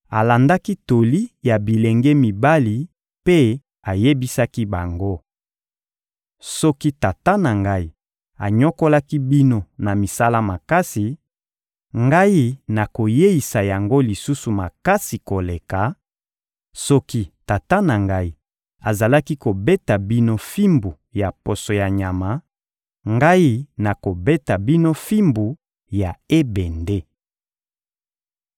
alandaki toli ya bilenge mibali mpe ayebisaki bango: — Soki tata na ngai anyokolaki bino na misala makasi, ngai nakoyeisa yango lisusu makasi koleka; soki tata na ngai azalaki kobeta bino fimbu ya poso ya nyama, ngai nakobeta bino fimbu ya ebende.